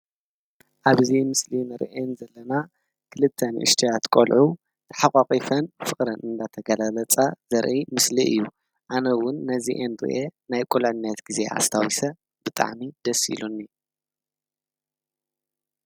ኣብዚ ምስሊ እንሪአን ዘለና ክልተ ንእሽተያት ቆልዑ ተሓቋቒፈን ፍቅረን እናተገላለፃ ዘርኢ መስሊ እዩ። ኣነ እዉን ነዚአን ሪአ ናይ ቁልዕንት ግዜ ኣስታዊሰ ብጣዕሚ ደስ ኢሉኒ።